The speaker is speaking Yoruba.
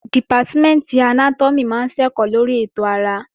Dìpátímẹ̀ntì Anátọ́mì máa ń ṣẹ̀kọ́ lórí ètò ara